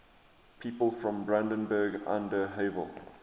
people from brandenburg an der havel